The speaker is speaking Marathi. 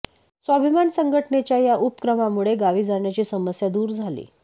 स्वाभिमान संघटनेच्या या उपक्रमामुळे गावी जाण्याची समस्या दूर झाली